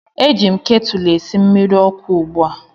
Eji m ketụlụ a esi mmiri ọkụ ugbu a